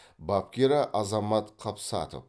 бапкері азамат қапсатов